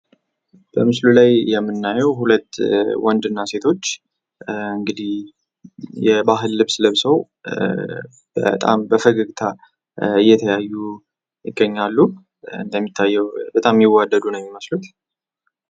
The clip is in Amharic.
በምስሉ ላይ የምናየው እንግዲህ ሁለት ወንድ እና ሴቶች የባህል ልብስ ለብሰው በጣም በፈገግታ የተለያዩ ይገኛሉ። እንደሚያታየው በጣም የሚዋደዱ ነው የሚመስሉት።